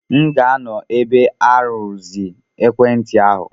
M ga-anọ ebe a irụzi ekwentị ahu.